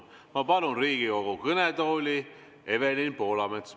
Ma palun Riigikogu kõnetooli Evelin Poolametsa.